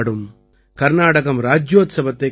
கர்நாடகம் ராஜ்யோத்சவத்தைக் கொண்டாடும்